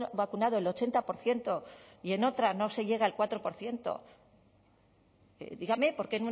vacunado el ochenta por ciento y en otra no se llegue al cuatro por ciento dígame por qué